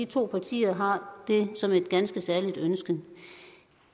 to partier har det som et ganske særligt ønske